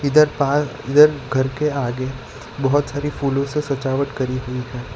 इधर पहाड़ इधर घर के आगे बहुत सारी फूलों से सजावट करी हुई है।